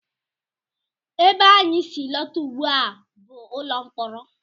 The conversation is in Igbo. Ebe anyị si alọta ugbu a bụ ụlọ mkpọrọ